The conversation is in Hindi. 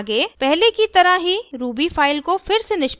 आगे पहले की तरह ही ruby फाइल को फिर से निष्पादित करें